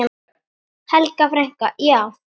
Helga frænka.